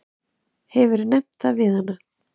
Hefurðu nefnt það við hana?